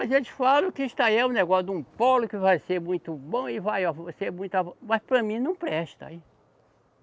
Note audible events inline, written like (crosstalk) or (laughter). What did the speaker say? Eles falam que isso aí é um negócio de um polo que vai ser muito bom e vai ser muito, (unintelligible) mas para mim não presta.